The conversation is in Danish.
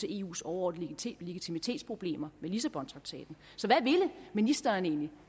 eus overordnede legitimitetsproblemer med lissabontraktaten så hvad ville ministeren egentlig